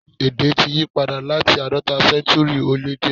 Èdè ti yípadà láti àádọ́ta séntúrì ó lé díẹ̀.